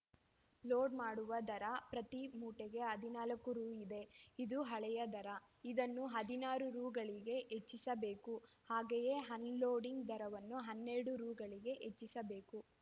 load ಮಾಡುವ ದರ ಪ್ರತಿ ಮೂಟೆಗೆ ಹದಿನಾಲ್ಕು ರು ಇದೆ ಇದು ಹಳೆಯ ದರ ಇದನ್ನು ಹದಿನಾರು ರುಗಳಿಗೆ ಹೆಚ್ಚಿಸಬೇಕು ಹಾಗೆಯೇ ಅನ್‌ಲೋಡಿಂಗ್‌ ದರವನ್ನು ಹನ್ನೆರಡು ರು ಗಳಿಗೆ ಹೆಚ್ಚಿಸಬೇಕು